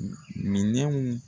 Minɛnw